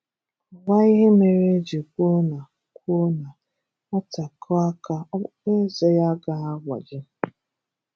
Kọwaa ihe mere eji kwuo na kwuo na Nwata kụọ aka ọkpụkpọ eze ya agaghi agbaji